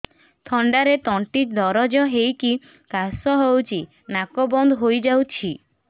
ଥଣ୍ଡାରେ ତଣ୍ଟି ଦରଜ ହେଇକି କାଶ ହଉଚି ନାକ ବନ୍ଦ ହୋଇଯାଉଛି